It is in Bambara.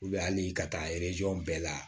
ali ka taa bɛɛ la